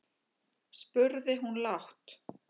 spurði hún lágt.